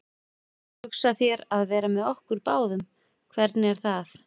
Varstu þá búin að hugsa þér að vera með okkur báðum, hvernig er það?